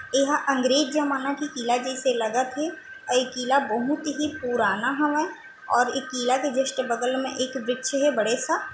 ए हा अंग्रेज जमाना के किला जइसे लगथे अउ ए किला बहुत ही पुराना हावय और ए किला के जस्ट बगल म एक वृक्ष हे बड़ा सा--